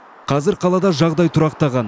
қазір қалада жағдай тұрақтаған